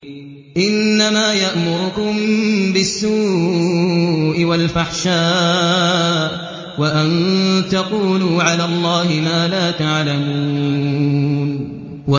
إِنَّمَا يَأْمُرُكُم بِالسُّوءِ وَالْفَحْشَاءِ وَأَن تَقُولُوا عَلَى اللَّهِ مَا لَا تَعْلَمُونَ